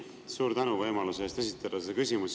Suur tänu võimaluse eest esitada see küsimus!